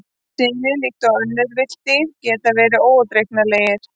Selir, líkt og önnur villt dýr, geta verið óútreiknanlegir.